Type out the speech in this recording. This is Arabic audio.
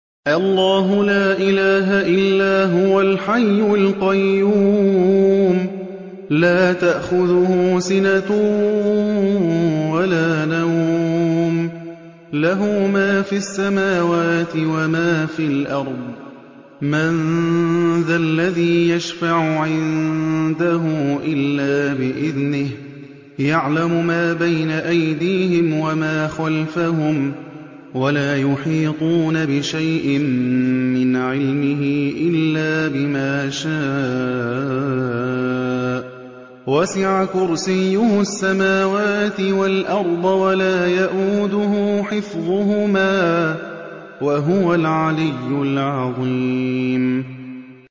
اللَّهُ لَا إِلَٰهَ إِلَّا هُوَ الْحَيُّ الْقَيُّومُ ۚ لَا تَأْخُذُهُ سِنَةٌ وَلَا نَوْمٌ ۚ لَّهُ مَا فِي السَّمَاوَاتِ وَمَا فِي الْأَرْضِ ۗ مَن ذَا الَّذِي يَشْفَعُ عِندَهُ إِلَّا بِإِذْنِهِ ۚ يَعْلَمُ مَا بَيْنَ أَيْدِيهِمْ وَمَا خَلْفَهُمْ ۖ وَلَا يُحِيطُونَ بِشَيْءٍ مِّنْ عِلْمِهِ إِلَّا بِمَا شَاءَ ۚ وَسِعَ كُرْسِيُّهُ السَّمَاوَاتِ وَالْأَرْضَ ۖ وَلَا يَئُودُهُ حِفْظُهُمَا ۚ وَهُوَ الْعَلِيُّ الْعَظِيمُ